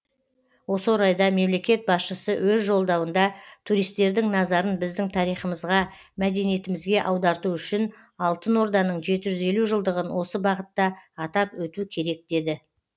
осы орайда мемлекет басшысы өз жолдауында туристердің назарын біздің тарихымызға мәдениетімізге аударту үшін алтын орданың жеті жүз елу жылдығын осы бағытта атап өту керек деді